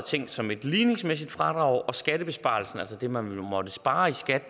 tænkt som et ligningsmæssigt fradrag og skattebesparelsen altså det man måtte spare i skat